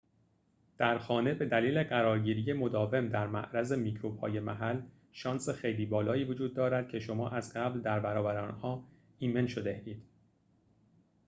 در خانه بدلیل قرارگیری مداوم در معرض میکروب‌های محل شانس خیلی بالایی وجود دارد که شما از قبل در برابر آنها ایمن شده‌اید